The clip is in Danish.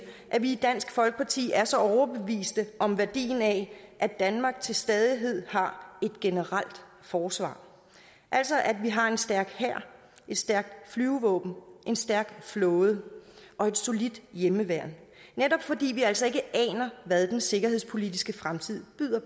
at vi i dansk folkeparti er så overbeviste om værdien af at danmark til stadighed har et generelt forsvar altså at vi har en stærk hær et stærkt flyvevåben en stærk flåde og et solidt hjemmeværn netop fordi vi altså ikke aner hvad den sikkerhedspolitiske fremtid byder